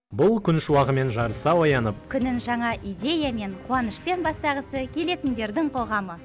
бұл күн шуағымен жарыса оянып күнін жаңа идеямен қуанышпен бастағысы келетіндердің қоғамы